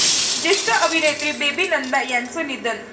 ज्येष्ठ अभिनेत्री बेबी नंदा यांचं निधन